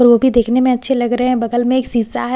और वो बी देखने में अच्छे लग रहे हैं बगल में एक शीशा हैं शीशा --